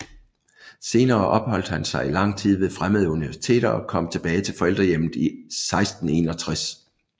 Senere opholdt han sig i lang tid ved fremmede universiteter og kom tilbage til forældrehjemmet 1661